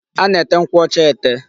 A na-ete nkwụ ọcha ete.